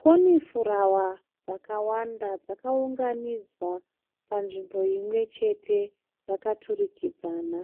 Konifurawa dzakawanda dzakaunganidzwa panzvimbo imwechete dzakaturikidzana.